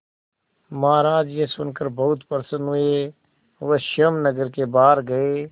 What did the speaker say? महाराज यह सुनकर बहुत प्रसन्न हुए वह स्वयं नगर के बाहर गए